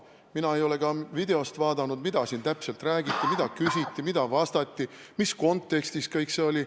Ma ei ole ka videost vaadanud, mida siin täpselt räägiti, mida küsiti, mida vastati ja mis kontekstis kõik see oli.